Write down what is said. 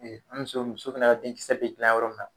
E an be muso muso fɛnɛ ka denkisɛ be gilan yɔrɔ min na